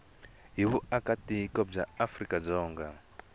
hi vuakatiko bya afrika dzonga